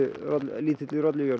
lítilli